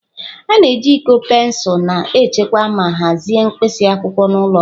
A na-eji iko pensụl na-echekwa ma hazie mkpịsị akwụkwọ n'ụlọ ọrụ.